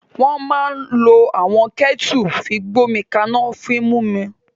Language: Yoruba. Wọ́n máa ń lo àwọn kẹ́ẹ́tẹu fi gbomi ka'na fún mímu.